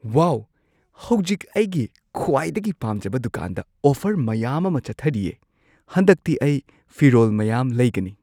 ꯋꯥꯎ! ꯍꯧꯖꯤꯛ ꯑꯩꯒꯤ ꯈ꯭ꯋꯥꯏꯗꯒꯤ ꯄꯥꯝꯖꯕ ꯗꯨꯀꯥꯟꯗ ꯑꯣꯐꯔ ꯃꯌꯥꯝ ꯑꯃ ꯆꯠꯊꯔꯤꯌꯦ꯫ ꯍꯟꯗꯛꯇꯤ ꯑꯩ ꯐꯤꯔꯣꯜ ꯃꯌꯥꯝ ꯂꯩꯒꯅꯤ꯫